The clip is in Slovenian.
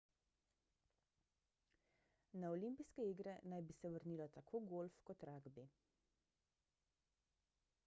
na olimpijske igre naj bi se vrnila tako golf kot ragbi